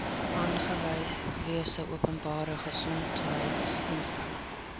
aangewese openbare gesondheidsinstelling